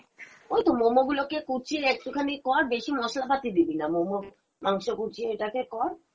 ওইতো momo গুলো কে কুচিয়ে একটু খানি কর বেশী মসলা পাতি দিবি না momo মাংস কুচিয়ে এটাকে কর